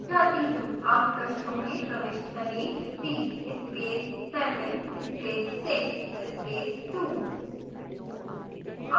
अब पृष्ठों में प्रविष्ट करें 3 space 7 space 6 space 2